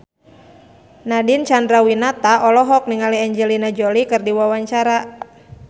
Nadine Chandrawinata olohok ningali Angelina Jolie keur diwawancara